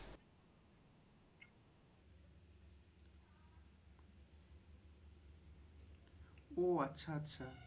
ওহ আচ্ছা আচ্ছা।